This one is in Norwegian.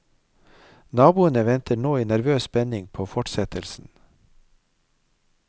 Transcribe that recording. Naboene venter nå i nervøs spenning på fortsettelsen.